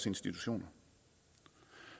institutionerne